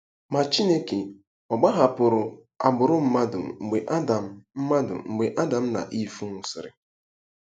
Ma Chineke ọ̀ gbahapụrụ agbụrụ mmadụ mgbe Adam mmadụ mgbe Adam na Iv nwụsịrị?